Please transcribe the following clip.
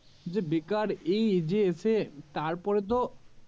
যে বেকার এই যে এসে তারপরে তো